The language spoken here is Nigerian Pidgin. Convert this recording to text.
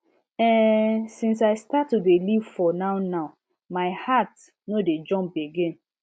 ehnnn since i start to dey live for nownow my heart no dey jump again